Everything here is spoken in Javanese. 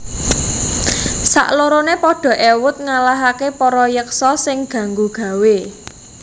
Saklorone padha ewut ngalahake para yeksa sing ganggu gawé